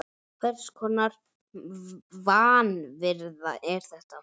Hvers konar vanvirða er þetta?